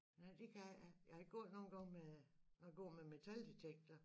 Nej det kan jeg ikke jeg har gået nogen gange med når jeg går med metaldetektor